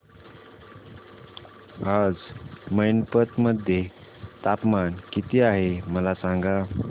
आज मैनपत मध्ये तापमान किती आहे मला सांगा